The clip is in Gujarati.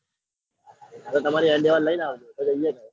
એ તમારી endevour લઈને આવ જો હા